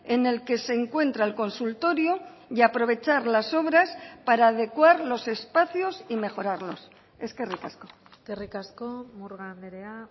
en el que se encuentra el consultorio y aprovechar las obras para adecuar los espacios y mejorarlos eskerrik asko eskerrik asko murga andrea